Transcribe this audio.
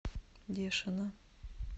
дешина